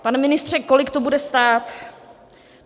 Pane ministře, kolik to bude stát?